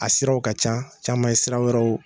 A siraw ka can, caman ye sira wɛrɛw.